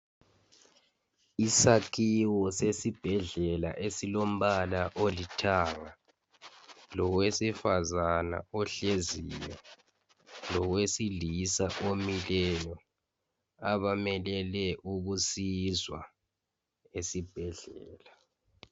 isakhiwo sesibhedlela esilombala olithanga lowesifazane ohleziyo lowesilisa omileyo abamelele ukusizwa esibhedlela